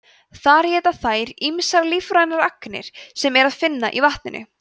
þar éta þær ýmsar lífrænar agnir sem er að finna í vatninu